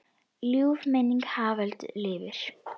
Ljúf minning Haföldu lifir.